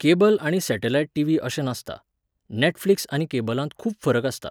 Cable आनी satellite TV अशें नासता. नॅटफ्लिक्स आनी केबलांत खूब फरक आसता.